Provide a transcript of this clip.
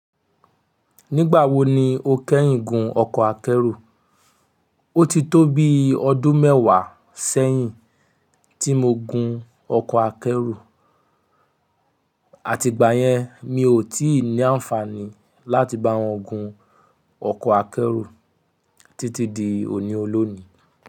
Nígbà wo ni o kẹ́yìn gun ọkọ̀ akẹ́rù? O ti tó bi ọdún mẹ́wàá sẹ́yìn tí mo gun ọkọ̀ akẹ́rù, àti ìgbà yẹn mi ò tí ì ní àǹfààní láti bá wọn gun ọkọ̀ akẹ́rù títí di òní olónìí.